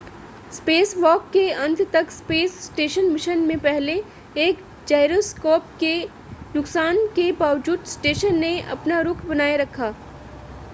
spacewalk के अंत तक स्पेस स्टेशन मिशन में पहले एक जाइरोस्कोप के नुकसान के बावजूद स्टेशन ने अपना रुख़ बनाए रखा